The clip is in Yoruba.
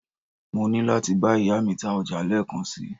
mo ni lati ba iya mi ta oja leekan si